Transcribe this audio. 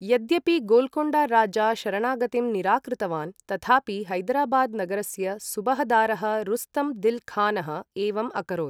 यद्यपि गोल्कोण्डा राजा शरणागतिं निराकृतवान्, तथापि हैदराबाद् नगरस्य सुबहदारः रुस्तम् दिल् खानः एवम् अकरोत्।